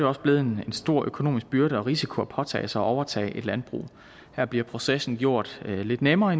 også blevet en stor økonomisk byrde og risiko at påtage sig at overtage et landbrug her bliver processen i gjort lidt nemmere